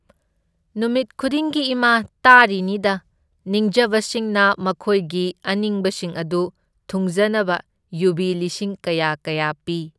ꯅꯨꯃꯤꯠ ꯈꯨꯗꯤꯡꯒꯤ ꯏꯃꯥ ꯇꯥꯔꯤꯅꯤꯗ ꯅꯤꯡꯖꯕꯁꯤꯡꯅ ꯃꯈꯣꯢꯒꯤ ꯑꯅꯤꯡꯕꯁꯤꯡ ꯑꯗꯨ ꯊꯨꯡꯖꯅꯕ ꯌꯨꯕꯤ ꯂꯤꯁꯤꯡ ꯀꯌꯥ ꯀꯌꯥ ꯄꯤ꯫